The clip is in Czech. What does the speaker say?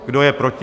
Kdo je proti?